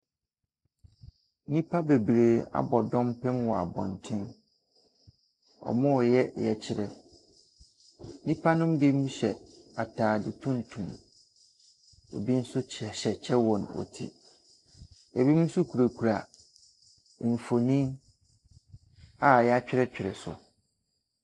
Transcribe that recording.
Nnipa bebree abɔ dɔmpem wɔ abɔnten. Wɔre yɛ yɛkyerɛ. Nnipa no bi hyɛ ataada tuntum, ebi nso hyehyɛ kyɛ wɔ wɔn ti. Ebinom nso kurakura mfoni a yɛatwerɛtwerɛ so.